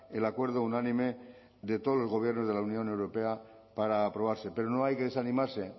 el acuerdo unánime de todos los gobiernos de la unión europea para aprobarse pero no hay que desanimarse